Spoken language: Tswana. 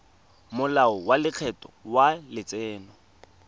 molao wa lekgetho wa letseno